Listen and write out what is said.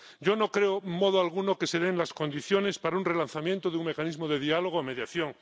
Yo no creo en modo alguno que se den las condiciones para un relanzamiento de un mecanismo de diálogo o mediación.